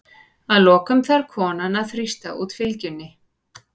Að lokum þarf konan að þrýsta út fylgjunni.